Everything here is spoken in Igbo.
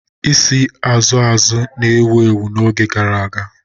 Isi Azụ azụ na-ewu ewu n'oge gara aga.